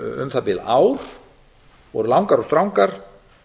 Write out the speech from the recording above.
um það bil ár voru langar og strangar